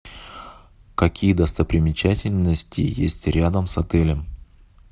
какие достопримечательности есть рядом с отелем